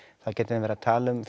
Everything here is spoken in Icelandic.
þá gætum við verið að tala um